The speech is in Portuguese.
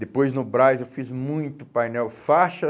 Depois, no Brás, eu fiz muito painel faixa.